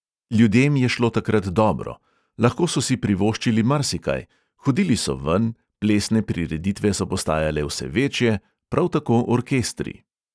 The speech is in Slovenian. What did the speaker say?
Ljudem je šlo takrat dobro, lahko so si privoščili marsikaj, hodili so ven, plesne prireditve so postajale vse večje, prav tako orkestri.